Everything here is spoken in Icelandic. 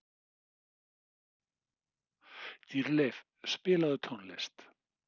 Dýrleif, spilaðu tónlist.